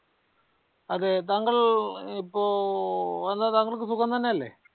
അത് താങ്കൾ ഇപ്പൊ എന്ത താങ്കൾക് സുഖം തന്നെ അല്ലെ